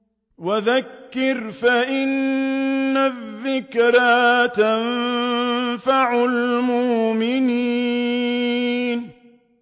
وَذَكِّرْ فَإِنَّ الذِّكْرَىٰ تَنفَعُ الْمُؤْمِنِينَ